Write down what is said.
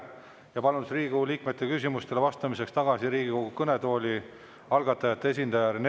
Ja palun Riigikogu liikmete küsimustele vastamiseks tagasi Riigikogu kõnetooli algatajate esindaja Rene Koka.